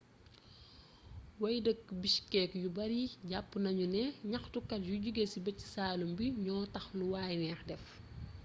way-dëkk bishkek yu bari japp nañu ne ñaxtukat yu joge ci bëj-saalum bi ño tax lu way nex def